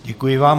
Děkuji vám.